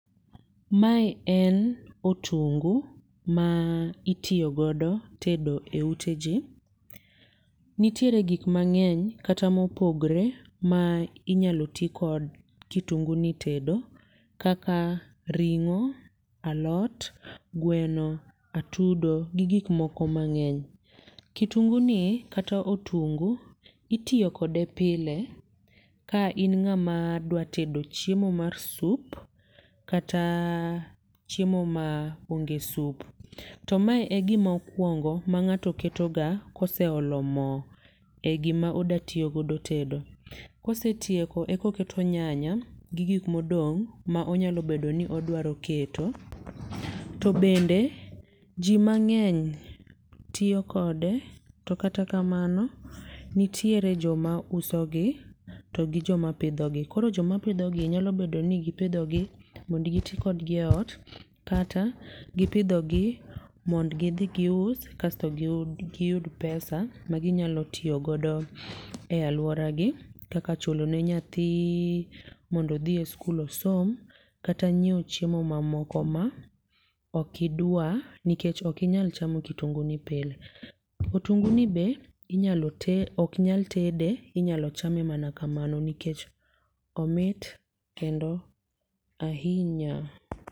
Mae en otungu ma itiyo godo tedo e ute ji. Nitiere gik mang'eny kata mopogre ma inyalo ti kod kitunguni tedo. Kaka ring'o, alot, gweno, atudo gi gik moko mang'eny. Kitunguni kata otungu itiyo kode pile, ka in ng'ama dwatedo chiemo mar sup kata chiemo ma ongesup. To mae e gima okwongo ma ng'ato keto ga koseolo mo e gima odatiyo godo tedo. Kose tieko e koketo nyanya gi gik modong' ma onyalo bedo ni odwaro keto. To bende, ji mang'eny tiyo kode, to kata kamano nitiere joma usogi to gi joma pidhogi. Koro joma pidhogi nyalo bedo ni gi pidhogi mondo giti kodgi e ot, kata gipidhogi mond gidhi gius kasto giyud, giyud [cs[pesa, ma ginyalo tiyo godo e alworagi kaka chulnoe nyathi mond odhi e skul osom, kata nyiewo ochimo mamoko ma okidwar. Nikech ok inyal chamo kitunguni pile. Otunguni be inyalo oknyal tede, inyalo chame mana kamano nikech omit kendo ahinya.